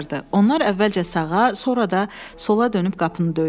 Onlar əvvəlcə sağa, sonra da sola dönüb qapını döydülər.